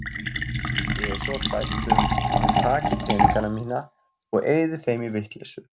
Ég er svo hrædd um að hann taki peningana mína og eyði þeim í vitleysu.